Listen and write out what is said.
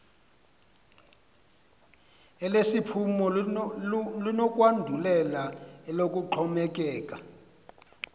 elesiphumo linokwandulela eloxhomekeko